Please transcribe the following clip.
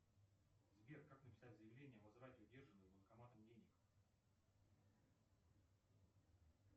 сбер как написать заявление о возврате удержанных банкоматом денег